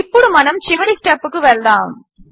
ఇప్పుడు మనము చివరి స్టెప్కు వెళ్దాము